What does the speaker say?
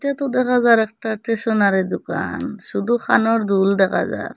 এতো দেখা যার একটা স্টেশনারি দুকান শুধু কানের দুল দেখা যার ।